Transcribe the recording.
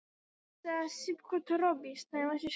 Er einhver byggð á Baffinslandi?